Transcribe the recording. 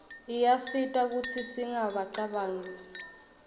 iyasita kutsi singacabanq kiuganga